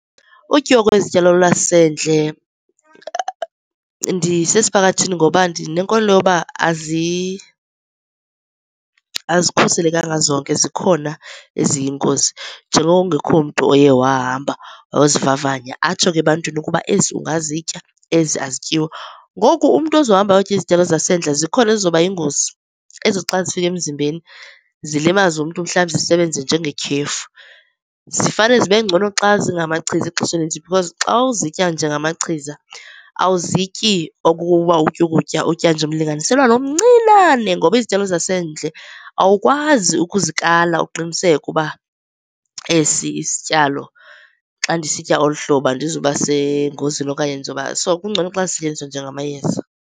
Utyiwa kwezityalo lwasendle ndisesiphakathini ngoba ndinenkolelo yokuba azikhuselekanga zonke. Zikhona eziyingozi njengoko kungekho mntu oye wahamba wayozivavanya atsho ke ebantwini ukuba ezi ungazitya, ezi azityiwa. Ngoku umntu ozohamba ayotya izityalo zasendle zikhona ezizoba yingozi ezithi xa zifika emzimbeni zilimaze umntu, mhlawumbi zisebenze njengetyhefu. Zifane zibe ngcono xa zingamachiza ixesha elinintsi because xa uzitya njengamachiza awuzityi okokuba utya ukutya. Utya nje umlinganiselwana omncinane ngoba izityalo zasendle awukwazi ukuzikala uqiniseke ukuba esi isityalo xa ndisitya olu hlobo andizuba sengozini okanye ndizoba, so kungcono xa zisetyenziswa njengamayeza.